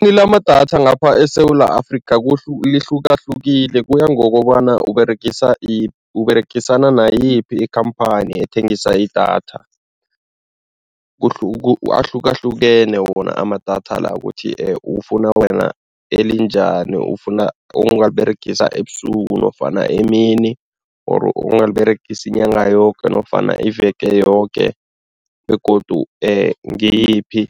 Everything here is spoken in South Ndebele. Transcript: Lamadatha ngapha eSewula Afrika lihlukahlukile, kuya ngokobana Uberegisa Uberegisana nayiphi ikhamphani ethengisa idatha ahlukahlukene wona amadatha la ukuthi ufuna wena elinjani, ufuna ongaliberegisa ebusuku nofana emini or ongaliberegisa inyanga yoke nofana iveke yoke begodu ngiyiphi